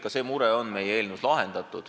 Ka see mure on meie eelnõus lahendatud.